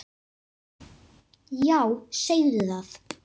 Já, segðu það!